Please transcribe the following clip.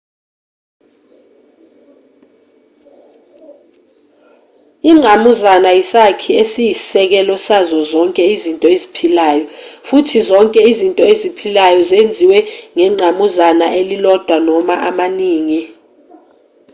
ingqamuzana isakhi esiyisekelo sazo zonke izinto eziphilayo futhi zonke izinto eziphilayo zenziwe ngengqamuzana elilodwa noma amaningi